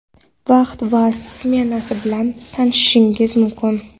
vaqti va smenasi bilan tanishishingiz mumkin:.